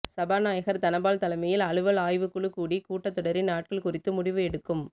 சபாநாயகர் தனபால் தலைமையில் அலுவல் ஆய்வு குழு கூடி கூட்டத் தொடரின் நாட்கள் குறித்து முடிவு எடுக்கும்